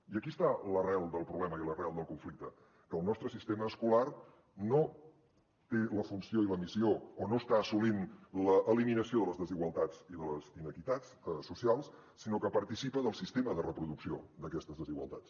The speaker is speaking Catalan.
i aquí està l’arrel del problema i l’arrel del conflicte que el nostre sistema escolar no té la funció i la missió o no està assolint l’eliminació de les desigualtats i de les inequitats socials sinó que participa del sistema de reproducció d’aquestes desigualtats